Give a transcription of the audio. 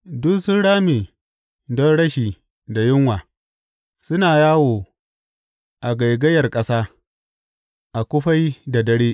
Duk sun rame don rashi da yunwa, suna yawo a gaigayar ƙasa a kufai da dare.